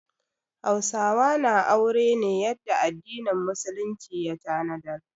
Hausawa na aure ne yadda addinin musulunci ya tanadar.